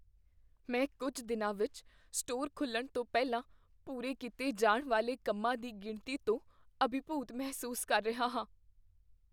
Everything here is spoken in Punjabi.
ਮੈਂ ਕੁੱਝ ਦਿਨਾਂ ਵਿੱਚ ਸਟੋਰ ਖੁੱਲ੍ਹਣ ਤੋਂ ਪਹਿਲਾਂ ਪੂਰੇ ਕੀਤੇ ਜਾਣ ਵਾਲੇ ਕੰਮਾਂ ਦੀ ਗਿਣਤੀ ਤੋਂ ਅਭਿਭੂਤ ਮਹਿਸੂਸ ਕਰ ਰਿਹਾ ਹਾਂ।